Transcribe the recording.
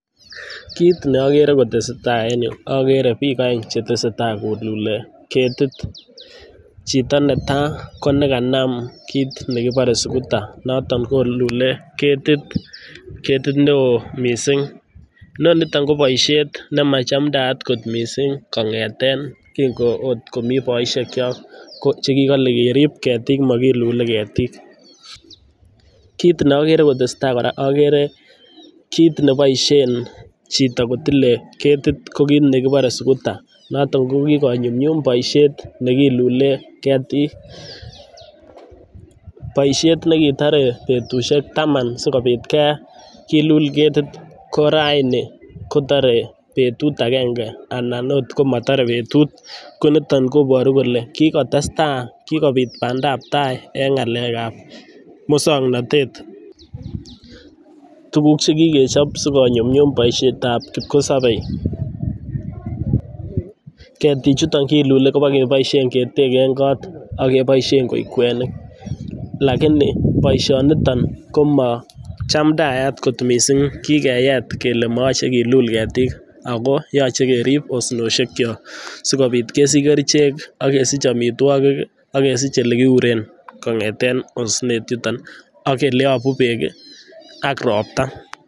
Kit neokere kotesetai en ireyu akere piik aeng chetesetai koluli ketit chito netaa konekanam kit nekipore suguta noton kolule ketit neo mising inonito koboisiet nemachamtaa kot mising kong'eten oot komii boisiekchok kochekikole kerip ketik mokilule ketik, kit neokere kotesetai kora akere kit neboisien chito kotile ketit kokit nekibore suguta noton kokikonyum boisiet nekilule ketik boisiet nekitore betusiek taman sikopit kilul ketit koraini kotore betu akenge anan oot komotore betut koniton koboru kole kikotestai kikopit pandab tai en ng'alekab muswoknatet tukuk chekikechop sikonyumnyum boisietab kipkosebe ketichuto kilule kopokeboisien keteken kot ak keboisien koik kwenik lakini boisionito komochamndayat kot mising kikeyet kele moyoche kilul ketik ako yoche kerip osnoshekyok sikopit kesich kerichek, akesich amitwok akesich olekiuren kong'eten osnet yuton akele yopu beek ak ropta.